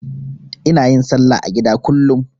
Ina yin salla a gida kullum.